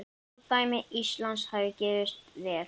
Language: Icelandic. Fordæmi Íslands hefði gefist vel.